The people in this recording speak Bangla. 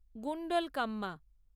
গুন্ডলকাম্মা